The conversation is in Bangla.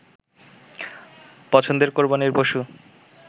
পছন্দের কোরবানীর পশু